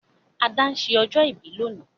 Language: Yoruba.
Ada n se ọjọ́ ìbí lónìí